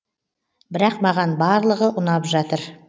бірақ маған барлығы ұнап жатыр